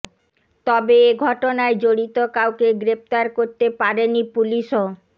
তবে এ ঘটনায় জড়িত কাউকে গ্রেফতার করতে পারেনি পুলিশঅ